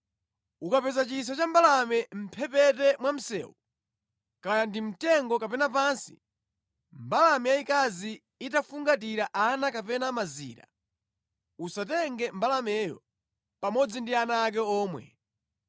Ukapeza chisa cha mbalame mʼmphepete mwa msewu, kaya ndi mu mtengo kapena pansi, mbalame yayikazi itafungatira ana kapena mazira, usatenge mbalameyo pamodzi ndi ana ake omwe.